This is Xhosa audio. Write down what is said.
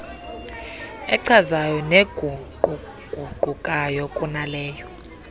echazayo neguquguqukayo kunaleyo